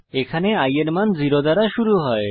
এখানে i এর মান 0 দ্বারা শুরু হয়